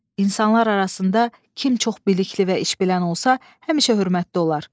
İnsanlar arasında kim çox bilikli və işbilən olsa, həmişə hörmətli olar.